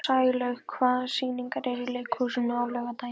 Sælaug, hvaða sýningar eru í leikhúsinu á laugardaginn?